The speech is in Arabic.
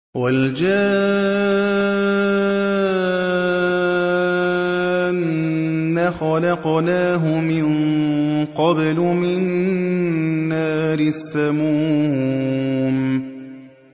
وَالْجَانَّ خَلَقْنَاهُ مِن قَبْلُ مِن نَّارِ السَّمُومِ